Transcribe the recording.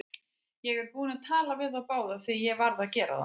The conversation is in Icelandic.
Ég er búinn að tala við þá báða, því ég varð að gera það.